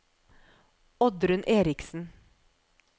Oddrun Eriksen